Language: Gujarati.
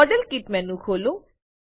મોડેલ કિટ મેનુ ખોલો